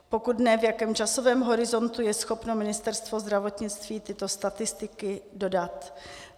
Pokud ne, v jakém časovém horizontu je schopno Ministerstvo zdravotnictví tyto statistiky dodat?